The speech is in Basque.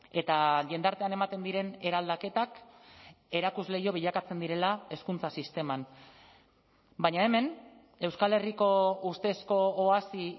eta jendartean ematen diren eraldaketak erakusleiho bilakatzen direla hezkuntza sisteman baina hemen euskal herriko ustezko oasi